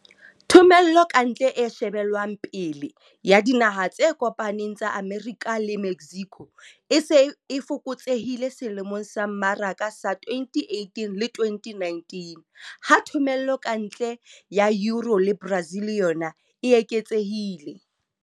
Thomello ka ntle e shebelwang pele ya Dinaha tse kopaneng tsa Amerika le Mexico e se e fokotsehile selemong sa mmaraka sa 2018-2019, ha thomello ka ntle ya EU le Brazil yona e eketsehile.